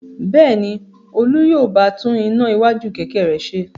Bẹ́ẹ̀ ni, Olú yóò bá tún iná iwájú kẹ̀kẹ́ rẹ̀ ṣe.